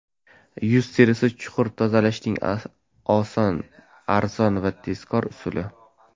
Yuz terisini chuqur tozalashning oson, arzon va tezkor usuli.